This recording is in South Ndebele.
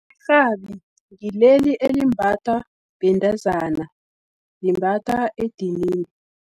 Irhabi, ngileli elimbathwa bentazana, limbatha edinini.